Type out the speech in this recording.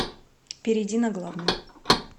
перейди на главную